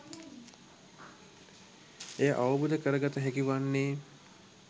එය අවබෝධ කරගත හැකි වන්නේ